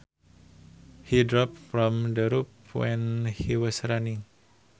He dropped from the roof when he was running